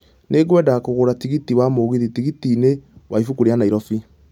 Nĩ ngwenda kũgũra tikiti wa mũgithi tigiti -inĩ wa ibũkũ rĩa nairobi